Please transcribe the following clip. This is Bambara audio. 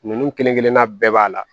Ninnu kelen kelenna bɛɛ b'a la